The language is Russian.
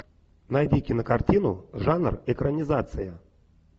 найди кинокартину жанр экранизация